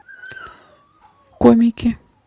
комики